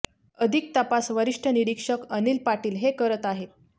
अधिक तपास वरिष्ठ निरीक्षक अनिल पाटील हे करत आहेत